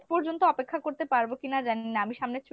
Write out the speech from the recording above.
পর্যন্ত অপেক্ষা করতে পারবো কিনা জানি না, আমি সামনের ছুটিতে